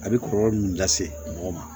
A bɛ kɔlɔlɔ min lase mɔgɔ ma